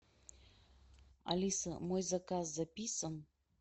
алиса мой заказ записан